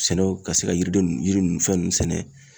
Sɛnɛw ka se ka yiriden nun yiri ninnu fɛn ninnu sɛnɛ